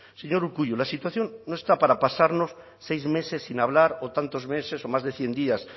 señor urkullu la situación no está para pasarnos seis meses sin hablar o tantos meses o más de cien días